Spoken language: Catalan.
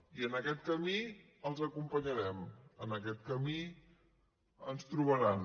i en aquest camí els acompanyarem en aquest camí ens trobaran